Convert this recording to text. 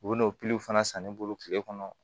U bɛ n'o fana san ne bolo tile kɔnɔ